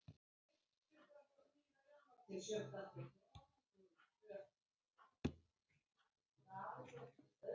Þú þarft bara að opna næsta dagblað til að lesa um svoleiðis, Sunna.